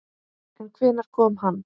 En hvenær kom hann?